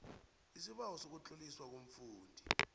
lsibawo sokutloliswa komfundisi